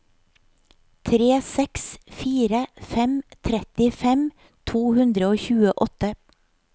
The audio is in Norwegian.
tre seks fire fem trettifem to hundre og tjueåtte